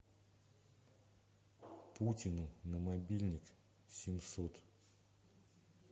путину на мобильник семьсот